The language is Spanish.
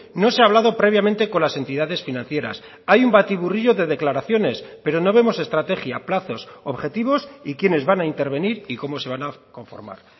no se ha hablado previamente con las entidades financieras hay un batiburrillo de declaraciones pero no vemos estrategia plazos objetivos y quienes van a intervenir y cómo se van a conformar